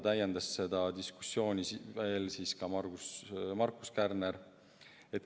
Seda diskussiooni täiendas Markus Kärner.